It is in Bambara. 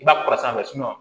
I b'a kɔrɔ sanfɛ